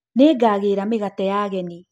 Nĩngagĩra mĩgate ya agenĩ.